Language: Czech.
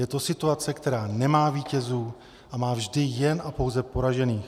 Je to situace, která nemá vítězů a má vždy jen a pouze poražených.